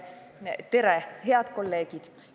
Tere, head kolleegid!